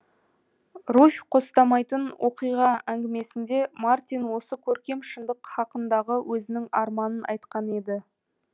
руфь қостамайтын оқиға әңгімесінде мартин осы көркем шындық хақындағы өзінің арманын айтқан еді